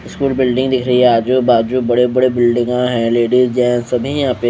school building दिख रही है आजू बाजू बड़े बड़े बिल्डिंगा है लेडीज जेन्स सभी है यहाँ पे--